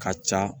Ka ca